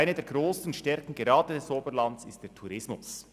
Eine der grossen Stärken gerade des Oberlands ist der Tourismus.